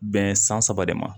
Bɛn san saba de ma